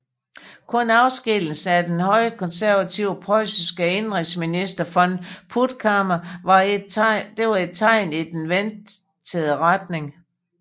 Kun afskedigelsen af den højkonservative preussiske indenrigsminister von Puttkamer var et tegn i den ventede retning